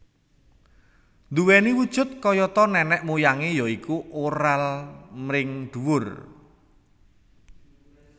Duweni wujud kayata nenek moyangé ya iku oral mring dhuwur